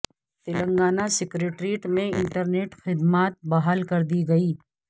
Telangana secretariat میں internet خدمات بحال کر دی گئیں